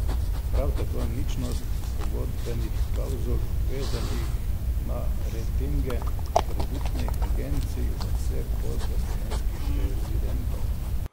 Prav tako ničnost pogodbenih klavzul, vezanih na ratinge, kreditnih agencij za vse posle slovenskih rezidentov.